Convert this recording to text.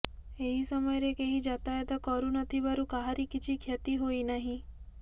ଏହି ସମୟରେ କେହି ଯାତ୍ରାୟାତା କର ନଥିବାରୁ କାହାରି କିଛି କ୍ଷତି ହୋଇନାହିଁ